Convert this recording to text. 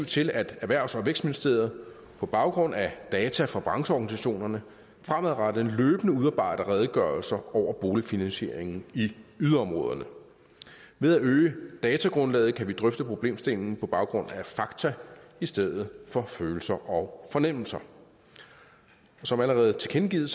til at erhvervs og vækstministeriet på baggrund af data fra brancheorganisationerne fremadrettet løbende udarbejder redegørelser over boligfinansieringen i yderområderne ved at øge datagrundlaget kan vi drøfte problemstillingen på baggrund af fakta i stedet for følelser og fornemmelser som allerede tilkendegivet